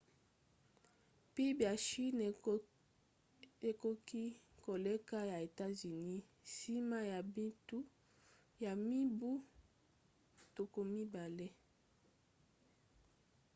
pib ya chine ekoki koleka ya états-unis nsima ya mibu tuku mibale